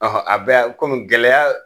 Ɔhɔn a bɛɛ komi gɛlɛya